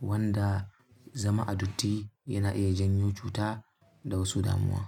wanda zama a datti yana iya janyo cuta da wasu damuwa.